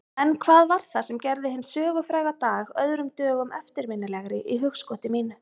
En hvað var það sem gerði hinn sögufræga dag öðrum dögum eftirminnilegri í hugskoti mínu?